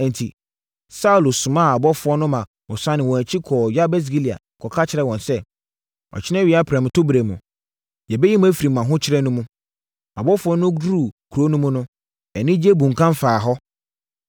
Enti, Saulo somaa abɔfoɔ no ma wɔsane wɔn akyi kɔɔ Yabes Gilead kɔka kyerɛɛ wɔn sɛ, “Ɔkyena awia prɛmtoberɛ mu, yɛbɛyi mo afiri mo ahokyere no mu.” Abɔfoɔ no duruu kuro no mu no, anigyeɛ bunkam faa hɔ.